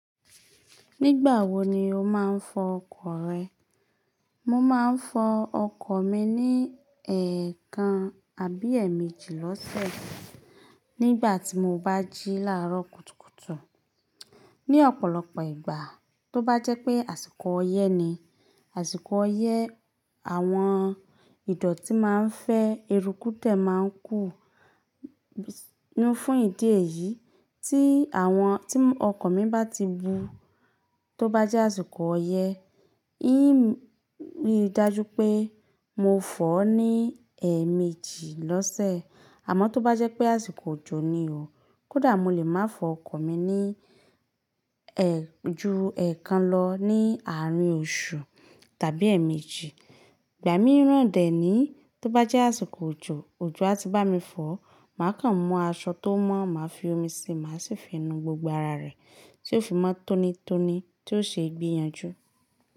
Nígbà wo ni o máa ń fọ ọkọ̀ rẹ? Mo máa ń fọ ọkọ̀ mi ní èèkàn àbí èemeji lọ́sẹ̀, nígbà tí mo bá jí láàárọ̀ kùtùkùtù. Ni ọ̀pọ̀lọpọ̀ ìgbà, tó bá jẹ́ pé àsìkò ọyẹ́ ni, àsìkò ọyẹ́, àwọn ìdọ̀tí máa ń fẹ́, eruku dẹ̀ máa ń kù. Ní fún ìdí èyí, tí àwọn, tí ọkọ̀ mi bá ti bú tó bá jẹ́ àsìkò ọyẹ́, í rí i dájú pé mo fọọ́ ní èemeji lọ́sẹ̀. Àmọ́ tó bá jẹ́ pé àsìkò òjò ni o, kódà mo lè máa fọ ọkọ̀ mi ní ẹ, ju èèkàn lọ ní àárín oṣù tàbí èemeji. Ìgbà míì ran dẹ̀ ní, tó bá jẹ́ àsìkò òjò, òjò á ti bá mi fọ̀, mà kan mú aṣọ tó mọ́, màá fi omi si, màá sì fi nu gbogbo ara rẹ̀ tí ó fi mọ́ tónítóní tí ó se gbeyànjú.